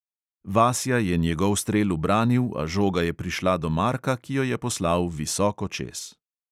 Vasja je njegov strel ubranil, a žoga je prišla do marka, ki jo je poslal visoko čez.